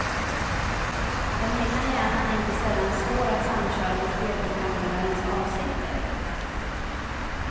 Den egna hjärnan är inte sällan svår att samköra med spelprogrammerarens avsikter.